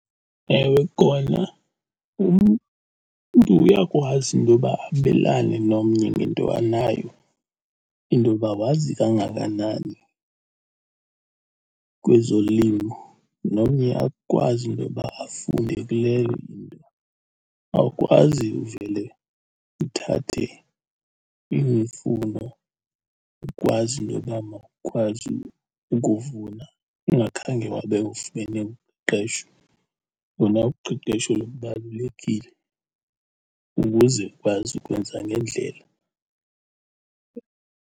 Ewe, kona umntu uyakwazi intoba abelane nomnye ngento anayo, intoba wazi kangakanani kwezolimo nomnye akwazi intoba afunde kuleyo into. Awukwazi uvele uthathe imifuno, ukwazi into yoba mawukwazi ukuvuna ungakhange wabe ufumene uqeqesho. Lona uqeqesho lubalulekile ukuze ukwazi ukwenza ngendlela.